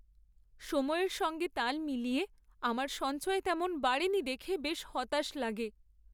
সময়ের সঙ্গে তাল মিলিয়ে আমার সঞ্চয় তেমন বাড়েনি দেখে বেশ হতাশ লাগে।